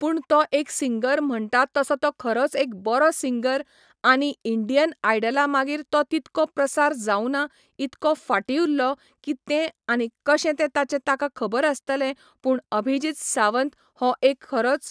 पूण तो एक सिंगर म्हणटा तसो तो खरोच एक बरो सिंगर आनी इंडियन आयडला मागीर तो तितको प्रसार जावना इतको फाटीं उरलो कि तें आनी कशें तें ताचें ताका खबर आसतलें पूण अभिजीत सावंत हो एक खरोच